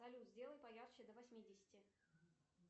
салют сделай поярче до восьмидесяти